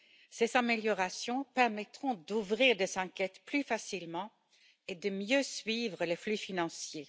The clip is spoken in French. Ces améliorations permettront d'ouvrir des enquêtes plus facilement et de mieux suivre les flux financiers.